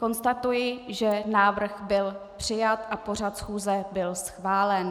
Konstatuji, že návrh byl přijat a pořad schůze byl schválen.